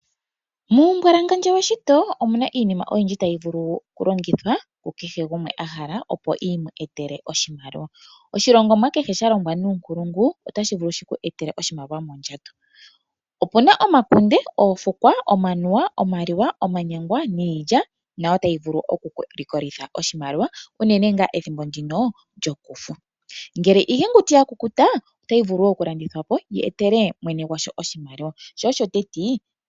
Muumbwalangandjo weshito omuna iinima oyindji tayi vulu oku longithwa ku kehe gumwe a hala opo iyetele oshimaliwa. Oshilongomwa kehe sha longwa nuunkulungu otashi vulu shiku etele oshimaliwa mondjato. Opuna omakunde, Oofukwa, Omanuwa, Omaliwa, omanyangwa nIilya nayo otayi vulu oku ku likolitha oshimaliwa unene ngaa ethimbo ndino lyOkufu. Ngele iiyenguti ya kukuta otayi vulu wo oku landithwa po yi etele mwene gwasho oshimaliwa sho osho teti.